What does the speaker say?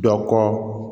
Dɔ kɔ